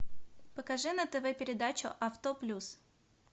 покажи на тв передачу авто плюс